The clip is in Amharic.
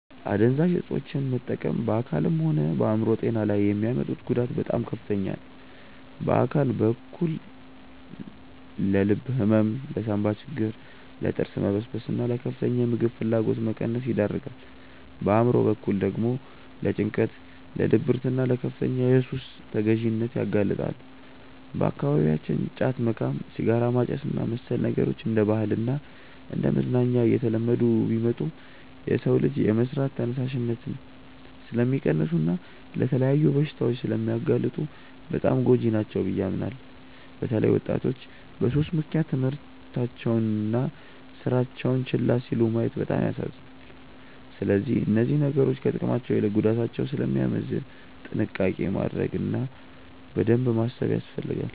አደንዛዥ እፆችን መጠቀም በአካልም ሆነ በአእምሮ ጤና ላይ የሚያመጡት ጉዳት በጣም ከፍተኛ ነው። በአካል በኩል ለልብ ህመም፣ ለሳንባ ችግር፣ ለጥርስ መበስበስና ለከፍተኛ የምግብ ፍላጎት መቀነስ ይዳርጋል። በአእምሮ በኩል ደግሞ ለጭንቀት፣ ለድብርትና ለከፍተኛ የሱስ ተገዢነት ያጋልጣሉ። በአካባቢያችን ጫት መቃም፣ ሲጋራ ማጨስና መሰል ነገሮች እንደ ባህልና እንደ መዝናኛ እየተለመዱ ቢመጡም፣ የሰውን ልጅ የመስራት ተነሳሽነት ስለሚቀንሱና ለተለያዩ በሽታዎች ስለሚያጋልጡ በጣም ጎጂ ናቸው ብዬ አምናለሁ። በተለይ ወጣቶች በሱስ ምክንያት ትምህርታቸውንና ስራቸውን ችላ ሲሉ ማየት በጣም ያሳዝናል። ስለዚህ እነዚህ ነገሮች ከጥቅማቸው ይልቅ ጉዳታቸው ስለሚያመዝን ጥንቃቄ ማድረግ እና በደንብ ማሰብ ያስፈልጋል።